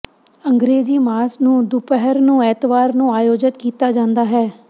ਅੰਗਰੇਜ਼ੀ ਮਾਸ ਨੂੰ ਦੁਪਹਿਰ ਨੂੰ ਐਤਵਾਰ ਨੂੰ ਆਯੋਜਤ ਕੀਤਾ ਜਾਂਦਾ ਹੈ